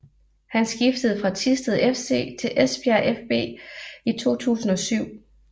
Han skiftede fra Thisted FC til Esbjerg fB i 2007